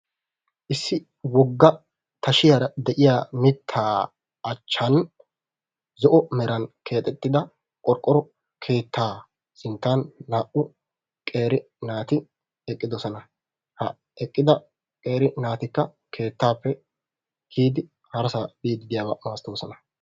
Issi wogga tashiyara de'iya mittaa achchan zo'o meran keexettida qorqqoro keettaa sinttan naa"u qeeri naati eqqidosona. Ha eqqida qeeri naatikka keettaappe kiyidi harasaa biiddi diyaba milatoosona.